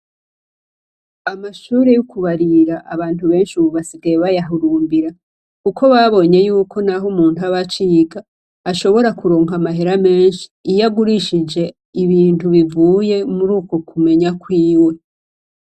Amashure yo kubarira, abantu benshi ubu basigaye bayahurumbira. Kuko babonye ko naho umuntu aba aciga, bashobora kuronka amahera menshi iyo agurishije ibintu bivuye mur'uko kumenya kwiwe.